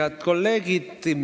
Head kolleegid!